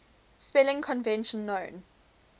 spelling convention known